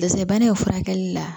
Dɛsɛ bana in furakɛli la